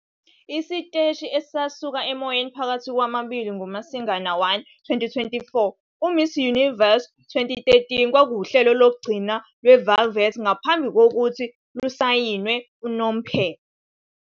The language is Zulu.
Isiteshi sasuka emoyeni phakathi kwamabili ngoMasingana 1, 2014. UMiss Universe 2013 kwakuwuhlelo lokugcina lweVelvet ngaphambi kokuthi lusayinwe unomphela.